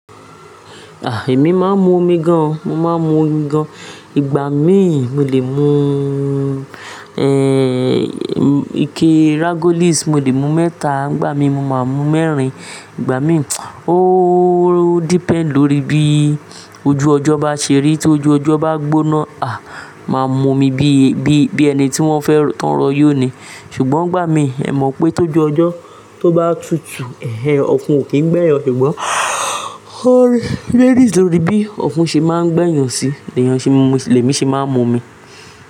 A! Èmi máa ń mu omi gan-an, mo máa ń mu omi gan-an. Ìgbà mi mo lè mu, eh, ike Ragolis mo lè mu mẹ́ta, ńgbà mí mo máa mú mẹ́rin, ìgbà mí, o depend lórí bí ojú ọjọ́ bá ṣe rí. Tí ojú ọjọ́ bá gbóná, a! Ma mú omi bí, bí, bí ẹni tí wọ́n fẹ́ tán lọ yó ni. Ṣùgbọ́n ìgbà mí, ẹ mọ̀ pé tó jọ ọjọ́ tó bá tutù, ẹhnehen, ọ̀fun ò kí ń gbẹ́ yàn. Ṣùgbọ́n, ó varies lórí bí ọ̀fun ṣe máa ń gbẹ́yàn si, èèyàn ṣe máa ń mu, lẹ̀mi ṣe máa ń mu omi.